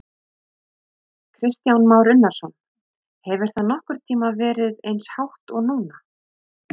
Kristján Már Unnarsson: Hefur það nokkurn tímann verið eins hátt og núna?